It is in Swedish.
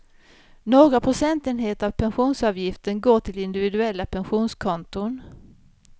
Några procentenheter av pensionsavgiften går till individuella pensionskonton.